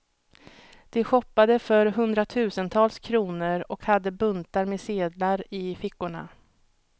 De shoppade för hundratusentals kronor och hade buntar med sedlar i fickorna.